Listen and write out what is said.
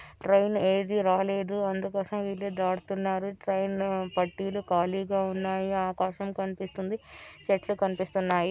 Train ఏది రాలేదు అందుకోసం వీళ్లు దాటుతున్నారు. ట్రైన్ పట్టీలు ఖాళీగా ఉన్నాయి ఆకాశం కనిపిస్తుంది. చెట్లు కనిపిస్తున్నాయి.